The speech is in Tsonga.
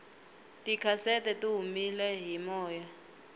tikhasete tihumele hi moya